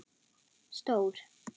Stór